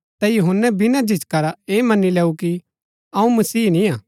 ता यूहन्‍नै बिना झिझका रा ऐह मनी लेऊ कि अऊँ मसीह निंआ